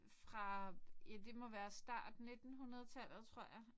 Fra det må være start nittenhundredetallet tror jeg